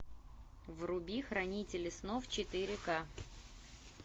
вруби хранители снов четыре к